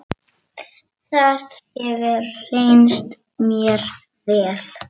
Það hefur reynst mér vel.